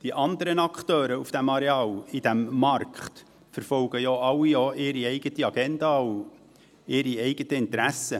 Die anderen Akteure auf diesem Areal und auf diesem Markt verfolgen ja alle auch ihre eigene Agenda und ihre eigenen Interessen;